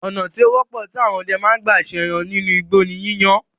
Ònà tí ó wọ́pọ̀ tí àwọn ọdẹ ma ń gbà se ẹran nínú igbó ní yíyan án